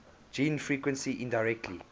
gene frequency indirectly